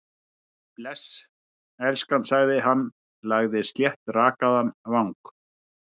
Bless, elskan- sagði hann, lagði sléttrakaðan vang